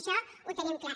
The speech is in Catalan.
això ho tenim clar